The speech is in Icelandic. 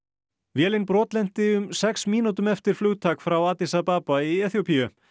vélin brotlenti um sex mínútum eftir flugtak frá Addis Ababa í Eþíópíu